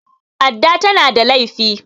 adda tana da laifi